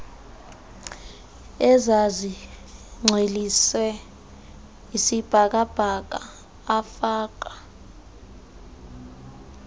ezazigcwelise isibhakabhaka afaka